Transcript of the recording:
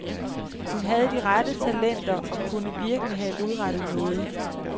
Hun havde de rette talenter og har virkelig have udrettet noget.